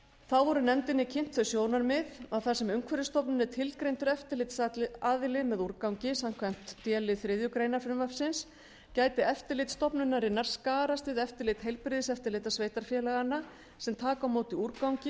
þá voru nefndinni kynnt þau sjónarmið að þar sem umhverfisstofnun er tilgreindur eftirlitsaðili með úrgangi samkvæmt d lið þriðju greinar frumvarpsins gæti eftirlit stofnunarinnar skarast við eftirlit heilbrigðiseftirlita sveitarfélaganna sem taka á móti úrgangi